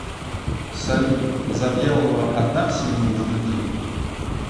салют завьялова одна в семье из детей